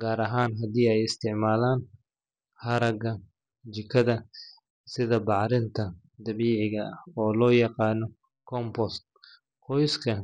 gaar ahaan haddii ay isticmaalaan haraaga jikada sida bacrinta dabiiciga ah oo loo yaqaan compost. Qoysaska.